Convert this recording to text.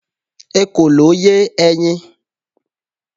ekòló ye eyin